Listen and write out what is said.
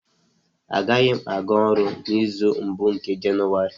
Agaghị m aga ọrụ n'izu mbụ nke Jenụwarị